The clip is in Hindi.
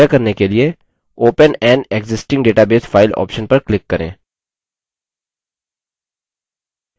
यह करने के लिए open an existing database file option पर click करें